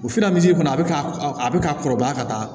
O kɔnɔ a be ka a be ka kɔrɔbaya ka taa